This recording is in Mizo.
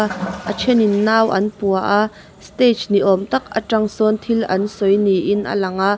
a thenin nau an pua a stage ni awm tak atang sawn thil an sawi niin a lang a.